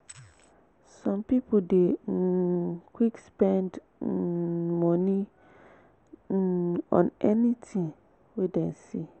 some pipo dey um quick spend um moni um on anything wey dem see